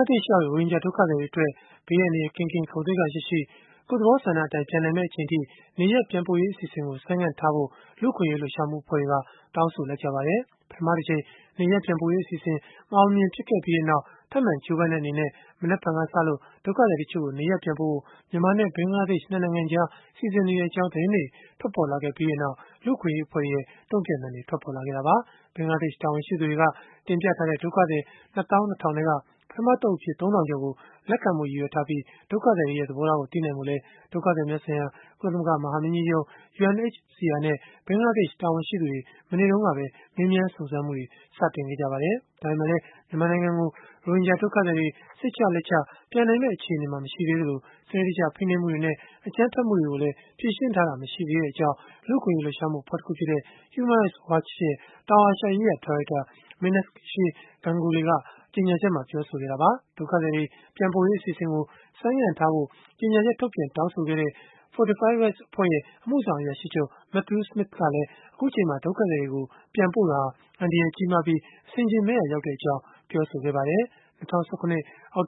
ားဒေ့ရှ်ရောက် ရိုဟင်ဂျာဒုက္ခသည်တွေအတွက် ဘေးအန္တရာယ်ကင်းကင်း၊ ဂုဏ်သိက္ခာရှိရှိ၊ ကိုယ့်သဘောဆန္ဒအတိုင်း နေရပ်ပြန်နိုင်မယ့် အချိန်အထိ နေရပ်ပြန်ပို့မယ့် အစီအစဉ်ကို ဆိုင်းငံ့ထားဖို့ လူ့အခွင့်အရေး လှုပ်ရှားမှု အဖွဲ့တွေက တောင်းဆို လိုက်ကြပါတယ်။ ပထမတကြိမ် နေရပ်ပြန်ပို့ရေးအစီအစဉ် မအောင်မမြင် ဖြစ်ခဲ့ပြီးနောက်၊ ထပ်မံ ကြိုးပမ်းတဲ့ အနေနဲ့ မနက်ဖြန်ကစပြီး ဒုက္ခသည်တချို့ကို နေရပ်ပြန်ပို့ဖို့ မြန်မာနဲ့ ဘင်္ဂလားဒေ့ရှ် ၂ နိုင်ငံကြား စီစဉ်နေကြောင်း သတင်းတွေ ထွက်ပေါ်လာခဲ့ပြီးနောက် လူ့အခွင့်အရေးအဖွဲ့တွေရဲ့ တုံ့ပြန်သံတွေ ထွက်ပေါ်လာခဲ့တာပါ။ ဘင်္ဂလားဒေ့ရှ် တာဝန်ရှိသူတွေက တင်ပြထားတဲ့ ဒုက္ခသည် ၂၂,၀၀၀ ထဲက ပထမ အသုတ်အဖြစ် ၃ ထောင်ကျော်ကို လက်ခံဖို့ ရည်ရွယ်ထားပြီး၊ ဒုက္ခသည်တွေရဲ့ သဘောထားကို သိနိုင်ဖို့လည်း ဒုက္ခသည်များဆိုင်ရာ ကုလသမဂ္ဂ မဟာမင်းကြီးရုံး (UNHCR) နဲ့ ဘင်္ဂလားဒေ့ရှ် တာဝန်ရှိသူတွေ မနေ့တုန်းကပဲ မေးမြန်းစုံစမ်းမှုတွေ စတင်ခဲ့ကြပါတယ်။ ဒါပေမဲ့လည်း မြန်မာနိုင်ငံကို ရိုဟင်ဂျာ ဒုက္ခသည်တွေ စိတ်ချလက်ချ ပြန်နိုင်မယ့် အခြေအနေ မရှိသေး သလို၊ စနစ်တကျဖိနှိပ်မှုတွေနဲ့ အကြမ်းဖက်မှုတွေကိုလည်း ဖြေရှင်းထားတာ မရှိသေးကြောင်း လူ့အခွင့်အရေး လှုပ်ရှားမှုအဖွဲ့တခုဖြစ်တဲ့ Human Rights Watch ရဲ့ တောင်အာရှရေးရာ ဒါရိုက်တာMeenakshi Ganguly က ကြေညာချက်မှာ ပြောဆိုခဲ့တာပါ။ ဒုက္ခသည်တွေ ပြန်ပို့ရေးအစီအစဉ်ကို ဆိုင်းငံ့ထားဖို့ ကြေညာချက်ထုတ်ပြန် တောင်းဆိုခဲ့တဲ့ Fortify Rights အဖွဲ့ရဲ့ အမှုဆောင်အရာရှိချုပ် Matthew Smith ကလည်း အခုအချိန်မှာ ဒုက္ခသည်တွေကို ပြန်ပို့တာဟာ အန္တရာယ်ကြီးမားပြီး၊ အဆင်အခြင်မဲ့ရာရောက်ကြောင်း ပြောဆိုခဲ့ပါတယ်။ ၂၀၁၇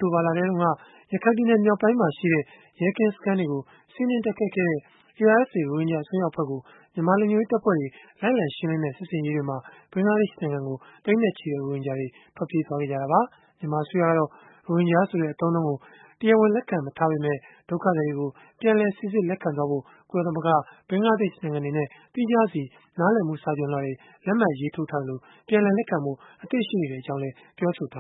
သြဂုတ်လတုန်းက ရခိုင်ပြည်နယ် မြောက်ပိုင်းမှာရှိတဲ့ ရဲကင်းစခန်းတွေကို စီးနင်းတိုက်ခိုက်ခဲ့တဲ့ ARSA ရိုဟင်ဂျာ အစွန်းရောက် အဖွဲ့ကို မြန်မာလုံခြုံရေးတပ်ဖွဲ့တွေ လိုက်လံရှင်းလင်းတဲ့ စစ်ဆင်ရေးတွေအတွင်း ဘင်္ဂလားဒေ့ရှ် နိုင်ငံကို သိန်းနဲ့ချီတဲ့ ဒုက္ခသည်တွေ ထွက်ပြေးသွားခဲ့ကြတာပါ။ မြန်မာအစိုးရကတော့ ရိုဟင်ဂျာဆိုတဲ့ အသုံးအနှုန်းကို တရားဝင် လက်ခံမထားပေမဲ့ ဒုက္ခသည်တွေကို ပြန်လည်စိစစ်လက်ခံဖို့ ကုလသမဂ္ဂ၊ ဘင်္ဂလားဒေ့ရှ် နိုင်ငံတွေနဲ့ သီးခြားစီ နားလည်မှုစာချွန်လွှာတွေ လက်မှတ်ရေးထိုးထားသလို၊ ပြန်လည်လက်ခံဖို့ အသင့်ရှိနေကြောင်းလည်း ပြောဆိုထာ